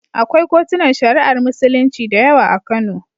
Akwai kotunan Shari'ar Musulunci da yawa a Kano.